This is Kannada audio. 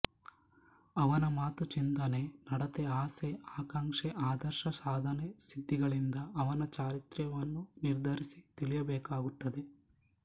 ಅವನ ಮಾತು ಚಿಂತನೆ ನಡತೆ ಆಸೆ ಆಕಾಂಕ್ಷೆ ಆದರ್ಶ ಸಾಧನೆ ಸಿದ್ಧಿಗಳಿಂದ ಅವನ ಚಾರಿತ್ರ್ಯವನ್ನು ನಿರ್ಧರಿಸಿ ತಿಳಿಯಬೇಕಾಗುತ್ತದೆ